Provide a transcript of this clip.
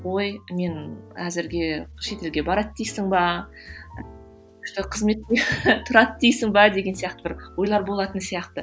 ой мен әзірге шетелге барады дейсің бе тұрады дейсің бе деген сияқты бір ойлар болатын сияқты